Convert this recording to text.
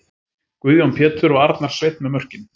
Guðjón Pétur og Arnar Sveinn með mörkin!